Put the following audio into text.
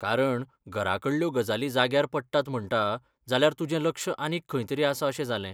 कारण, घराकडल्यो गजाली जाग्यार पडटात म्हणटा, जाल्यार तुजें लक्ष आनीक खंयतरी आसा अशें जालें.